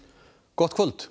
gott kvöld